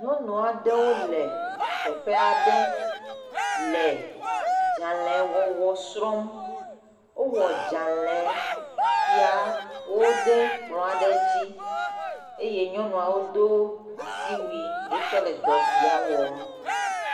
Nyɔnu aɖewo le teƒe aɖe le adzalewɔwɔ srɔ̃m. Wowɔ dzale siawo ɖe kplɔ aɖe dzi eye nyɔnuawo do asiwui hetsɔ le dɔ sia wɔm.